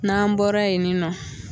N'an bɔra yen nin nɔ